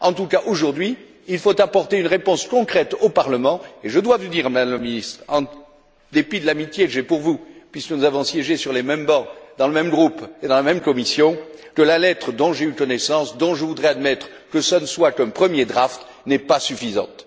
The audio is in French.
En tout cas, aujourd'hui, il faut apporter une réponse concrète au Parlement et je dois vous dire, Madame la Ministre en dépit de l'amitié que j'ai pour vous puisque nous avons siégé sur les mêmes bancs, dans le même groupe et dans la même commission que la lettre dont j'ai eu connaissance, dont je voudrais admettre que ce ne soit qu'un premier draft n'est pas suffisante.